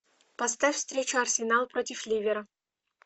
поставь встречу арсенал против ливера